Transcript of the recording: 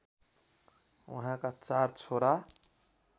उहाँका चार छोरा